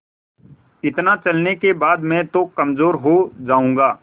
इतना चलने के बाद मैं तो कमज़ोर हो जाऊँगा